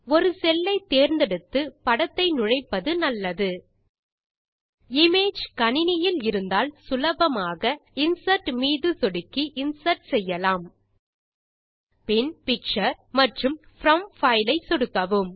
ஒரு செல் ஐ தேர்ந்தெடுத்து படத்தை நுழைப்பது நல்லது இமேஜ் கணினியில் இருந்தால் சுலபமாக இன்சர்ட் மீது சொடுக்கி இன்சர்ட் செய்யலாம் பின் பிக்சர் மற்றும் ப்ரோம் பைல் ஐ சொடுக்கவும்